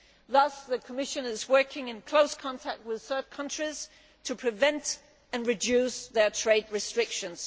Thus the Commission is working in close contact with third countries to prevent and reduce their trade restrictions.